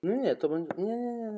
Glóa, mun rigna í dag?